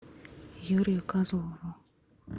юрию козлову